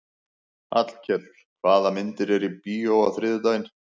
Hallkell, hvaða myndir eru í bíó á þriðjudaginn?